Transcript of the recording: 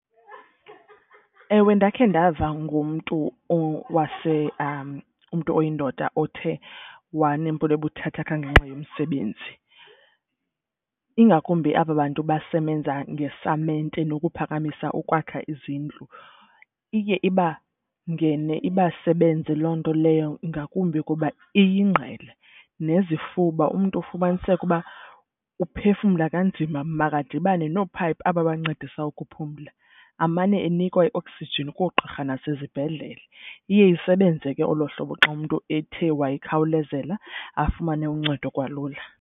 Ewe, ndakhe ndava ngomntu umntu oyindoda othe wanempilo ebuthathaka ngenxa yomsebenzi. Ingakumbi aba bantu basebenza ngesamente nokuphakamisa ukwakha izindlu. Iye ibangene ibasebenze loo nto leyo ngakumbi kuba iyingqele nezifuba umntu ufumaniseke uba uphefumla kanzima, makadibane noophayiphi aba bancedisa ukuphumla amane enikwa ioksijini koogqirha nasezibhedlele. Iye isebenze ke olo hlobo xa umntu ethe wayikhawulezela afumane uncedo kwalula.